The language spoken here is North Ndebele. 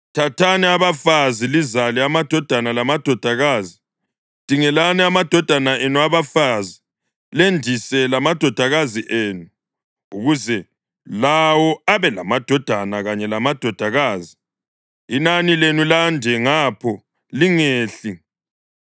Thathani abafazi lizale amadodana lamadodakazi; dingelani amadodana enu abafazi lendise lamadodakazi enu, ukuze lawo abe lamadodana kanye lamadodakazi; inani lenu lande ngapho; lingehli.